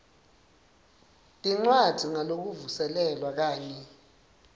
tincwadzi ngalokuvuselelwa kanye